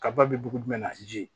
Kaba bɛ dugu jumɛn na ji